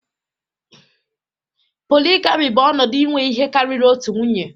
Polygyny bụ ọnọdụ inwe ihe karịrị otu nwunye